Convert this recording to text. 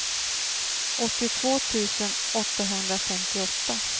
åttiotvå tusen åttahundrafemtioåtta